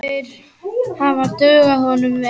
Þeir hefðu dugað honum vel.